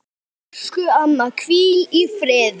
Elsku amma, hvíl í friði.